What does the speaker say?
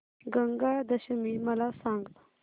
गंगा दशमी मला सांग